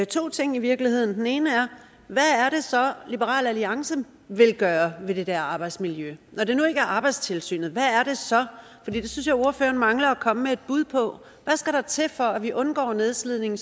to ting i virkeligheden og den ene er hvad er det så liberal alliance vil gøre ved det der arbejdsmiljø når det nu ikke er arbejdstilsynet hvad er det så det synes jeg ordføreren mangler at komme med et bud på hvad skal der til for at vi undgår nedslidning